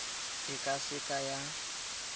e ka se ka ya